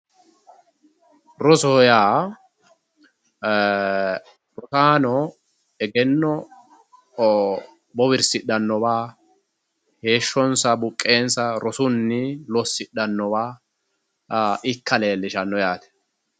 Rosoho yaa rosaano egenno bowirsidhannowa heeshshonsa buqqeensa rosunni lossidhannowa ikka leellishanno yaate.